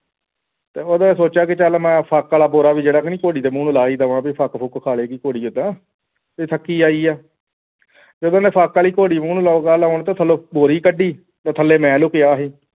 ਤੇ ਉਹ ਨੇ ਸੋਚਿਆ ਕਿ ਚੱਲ ਮੈਂ ਫੁੱਕ ਵਾਲਾ ਬੋਰਾਂ ਵੀ ਚੱਲ ਘੋੜੀ ਦੇ ਮੂੰਹ ਨੂੰ ਲਗਾ ਦਵਾਂ ਕੇ ਫੱਕ ਫੁੱਕ ਖਾਹ ਲਵੇਂਗੀ ਘੋੜੀ ਉਹਦਾ ਇਹ ਥੱਕ ਕੇ ਆਈ ਹੈ ਜਦੋਂ ਮੈਂ ਫੁੱਕ ਵਾਲੀ ਘੋੜੀ ਮੂੰਹ ਨੂੰ ਲੱਗਾ ਲਗਾਉਣ ਜਦੋਂ ਥੱਲੋਂ ਬੋਰੀ ਕੌਡੀ ਤੇ ਥੱਲੇ ਮੈਂ ਲਿਖਿਆ ਸੀ